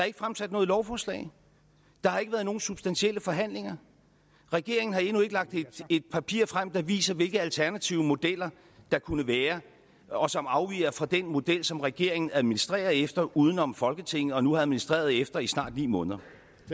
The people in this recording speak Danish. ikke fremsat noget lovforslag der har ikke været nogen substantielle forhandlinger regeringen har endnu ikke lagt et papir frem der viser hvilke alternative modeller der kunne være og som afviger fra den model som regeringen administrerer efter udenom folketinget og nu har administreret efter i snart ni måneder